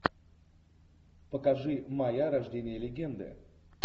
покажи майя рождение легенды